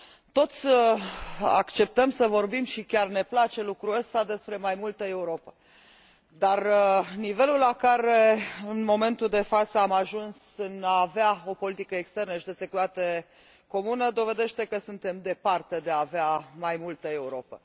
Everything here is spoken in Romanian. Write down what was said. Toți acceptăm să vorbim și chiar ne place lucrul ăsta despre mai multă Europă, dar nivelul la care, în momentul de față, am ajuns în a avea o politică externă și de securitate comună dovedește că suntem departe de a avea mai multă Europă.